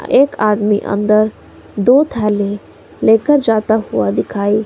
एक आदमी अंदर दो थाली लेकर जाता हुआ दिखाई--